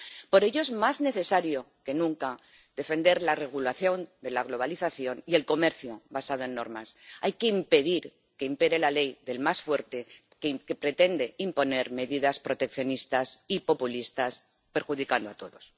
Por ello, es más necesario que nunca defender la regulación de la globalización y el comercio basado en normas hay que impedir que impere la ley del más fuerte, que pretende imponer medidas proteccionistas y populistas perjudicando a todos.